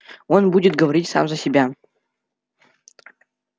он будет говорить сам за себя